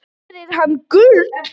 Fæst fyrir hana gull.